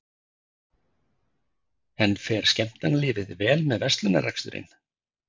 En fer skemmtanalífið vel með verslunarrekstrinum?